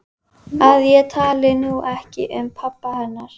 Miðlífsöld skiptist í tímabilin trías, júra og krít.